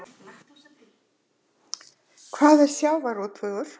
Hvað er sjávarútvegur?